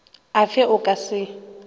a fe o ka se